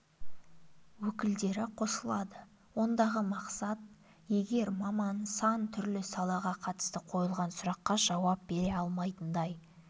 өкілдері қосылады ондағы мақсат егер маман сан түрлі салаға қатысты қойылған сұраққа жауап бере алмайтындай